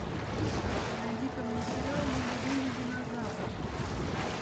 найди ка мне сериал мой любимый динозавр